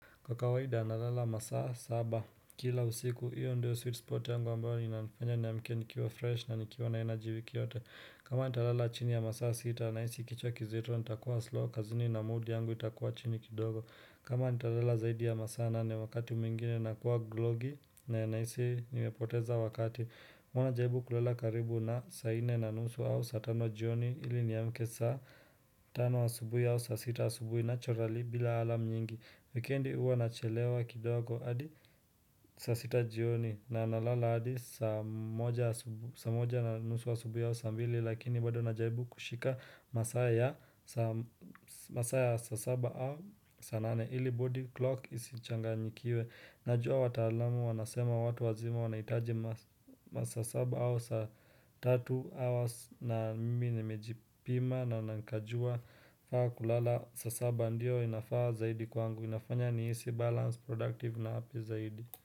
Kwa kawaida nalala masaa saba Kila usiku hiyo ndio sweet spot yangu ambayo inanifanya niamke nikiwa fresh na nikiwa na energy wiki yote kama nitalala chini ya masaa sita nahisi kichwa kizito nitakuwa slow kazini na mood yangu itakuwa chini kidogo kama nitalala zaidi ya masaa nane wakati mwingine nakuwa glogi na nahisi nimepoteza wakati mwana jaribu kulala karibu na saa nne na nusu au saa tano jioni ili niamke saa Tano asubui au saa sita asubui naturali bila alarm nyingi Wikendi uwa nachelewa kidogo adi saa sita jioni na nalala hadi saa moja na nusu wa asubuhi au saa mbili lakini bado najaribu kushika masaa ya masaa ya saa saba au saa nane ili body clock isichanganyikiwe. Najua wataalamu wanasema watu wazima wanahitaji masaa saba au saatl tatu hours na mimi nimejipima na nkajua faa kulala saa saba ndio inafaa zaidi kwangu inafanya nihisi balance productive na afya zaidi.